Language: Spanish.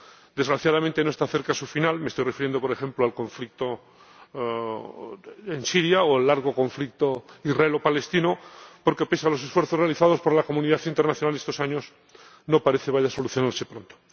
Desgraciadamente no está cerca su final —me estoy refiriendo, por ejemplo, al conflicto en Siria o al largo conflicto israelo palestino— porque, pese a los esfuerzos realizados por la comunidad internacional en estos años, no parece que vaya a solucionarse pronto.